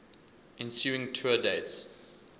ensuing tour dates